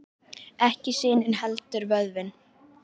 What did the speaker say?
Ekki sinin heldur vöðvinn.